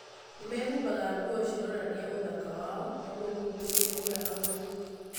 Nĩmehumbaga nguo cironania ũthaka wao nĩguo kũgucĩrĩria agũri.